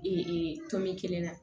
tɔn min kelen na